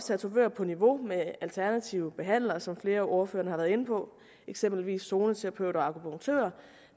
tatovører på niveau med alternative behandlere som flere af ordførerne har været inde på eksempelvis zoneterapeuter og akupunktører